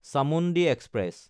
Chamundi express